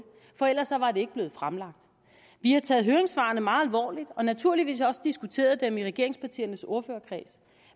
for ellers var det ikke blevet fremlagt vi har taget høringssvarene meget alvorligt og har naturligvis også diskuteret dem i regeringspartiernes ordførerkreds